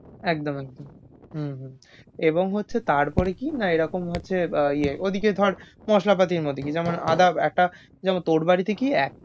একদম একদম হুম হু এবং হচ্ছে তারপরে কিনা এরকম হচ্ছে আ ইয়ে ওইদিকে ধর মশলাপাতি অন্যদিকে যেমন আদাবাটা যেন তোর বাড়ি থেকেই এক।